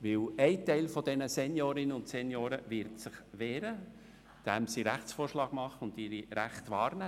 Denn ein Teil dieser Seniorinnen und Senioren wird sich dagegen wehren, indem sie Rechtsvorschlag machen und ihre Rechte wahrnehmen.